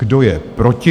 Kdo je proti?